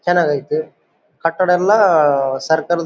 ಚೆನ್ನಾಗೈತೆ ಕಟ್ಟಡನ್ನ ಸರ್ಕಲ್ --